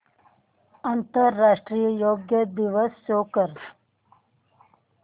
आंतरराष्ट्रीय योग दिवस शो कर